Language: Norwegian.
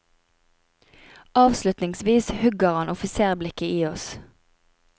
Avslutningsvis hugger han offisersblikket i oss.